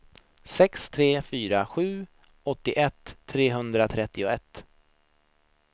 sex tre fyra sju åttioett trehundratrettioett